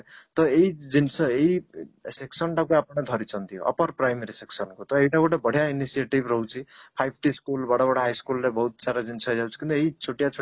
ତ ଏଇଜିନିଷ ରେ ଏଇ section ଟାକୁ ଆପଣ ଧରିଛନ୍ତି upper primary section କୁ ତ ଏଇଟା ଗୋଟେ ବଢିଆ initiative ରହୁଛି five t school ବଡ ବଡ high school ରେ ବହୁତ ସାରା ଜିନିଷ ଏଇ ଛୋଟିଆ ଛୋଟିଆ